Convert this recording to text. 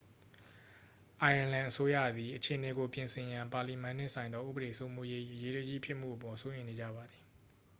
အိုင်းယာလန်အစိုးရသည် အခြေအနေကို ပြင်ဆင်ရန် ပါလီမန်နှင့်ဆိုင်သော ဥပဒေစိုးမိုးရေး၏ အရေးတကြီးဖြစ်မှုအပေါ် စိုးရိမ်နေကြပါသည်